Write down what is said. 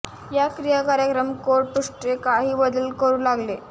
या क्रिया कार्यक्रम कोड पृष्ठे काही बदल करू लागेल